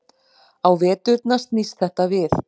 Á veturna snýst þetta við.